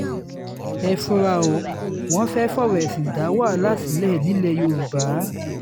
ẹ fura ó wọ́n fẹ́ẹ́ fọ̀rọ̀ ẹ̀sìn dá wàhálà sílẹ̀ nílẹ̀ yorùbá